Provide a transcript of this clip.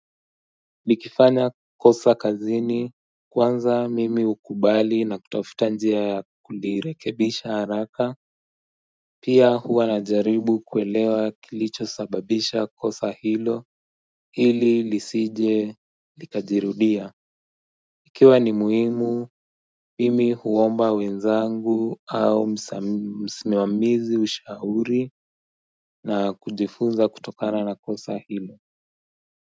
Nikifanya kosa kazini kwanza mimi hukubali na kutafuta njia kulirekebisha haraka Pia huwa najaribu kuelewa kilichosababisha kosa hilo hili lisije likajirudia Ikiwa ni muhimu mimi huomba wenzangu au msimamizi ushauri na kujifunza kutokana na kosa hilo.